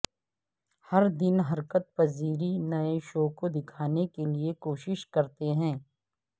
ہر دن حرکت پذیری نئے شو کو دکھانے کے لئے کوشش کرتے ہیں